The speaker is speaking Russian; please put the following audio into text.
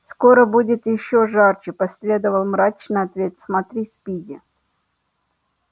скоро будет ещё жарче последовал мрачный ответ смотри спиди